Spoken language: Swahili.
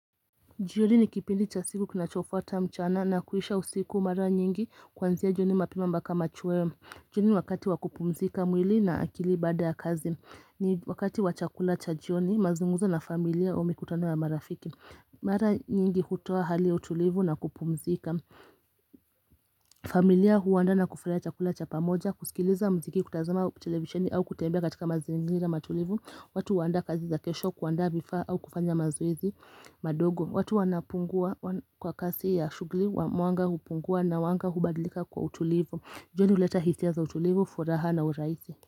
Jioni ni kipindi cha siku kinacho fuata mchana na kuisha usiku mara nyingi kuanzia jioni mapema mpaka machweo jioni wakati waku pumzika mwili na akili bada ya kazi ni wakati wa chakula cha jioni mazungumzo na familia au mikutano ya marafiki Mara nyingi hutoa hali ya utulivu na kupumzika familia huandaa na kufurahia chakula cha pamoja kusikiliza mziki kutazama televisheni au kutembea katika mazingira matulivu watu huandaa kazi za kesho kuandaa vifaa au kufanya mazoezi madogo watu wanapungua kwa kasi ya shugli wa mwanga hupungua na wanga hubadlika kwa utulivu jioni huleta hisia za utulivu furaha na uraisi.